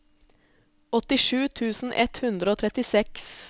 åttisju tusen ett hundre og trettiseks